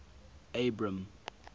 abram